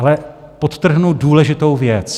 Ale podtrhnu důležitou věc.